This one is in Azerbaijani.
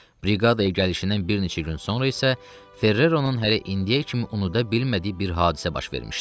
Briqadaya gəlişindən bir neçə gün sonra isə Ferreronun hələ indiyə kimi unuda bilmədiyi bir hadisə baş vermişdi.